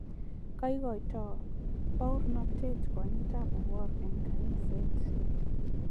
kaikoito bouranetet kwanitab Awuor eng kaniset